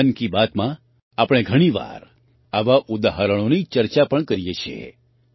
મન કી બાતમાં આપણે ઘણી વાર આવાં ઉદાહરણોની ચર્ચા પણ કરીએ છીએ